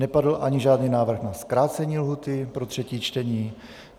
Nepadl ani žádný návrh na zkrácení lhůty pro třetí čtení.